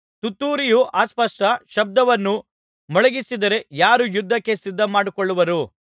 ತುತ್ತೂರಿಯು ಅಸ್ಪಷ್ಟ ಶಬ್ದವನ್ನು ಮೊಳಗಿಸಿದರೆ ಯಾರು ಯುದ್ಧಕ್ಕೆ ಸಿದ್ಧಮಾಡಿಕೊಳ್ಳುವರು